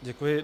Děkuji.